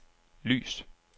lys